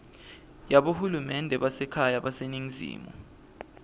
yabohulumende basekhaya baseningizimu